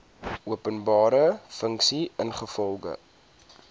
openbare funksie ingevolge